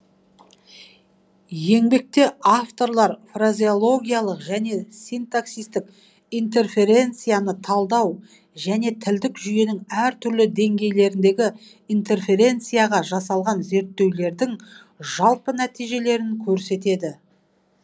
еңбекте авторлар фразеологиялық және синтаксистік интерференцияны талдау және тілдік жүйенің әртүрлі деңгейлеріндегі интерференцияға жасалған зерттеулердің жалпы нәтижелерін көрсетеді